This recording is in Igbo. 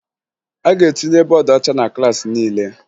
A ga-etinye bọọdụ ọcha na klaasị niile